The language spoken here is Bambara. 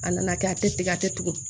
A nana kɛ a tɛ tigɛ a tɛ tugun